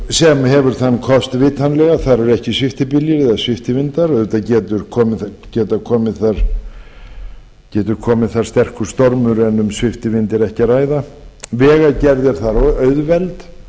sem hefur þann kost vitanlega að þar eru ekki sviptibyljir eða sviptivindar auðvitað getur komið þar sterkur stormur en um sviptivind er ekki ræða vegagerð er þar auðveld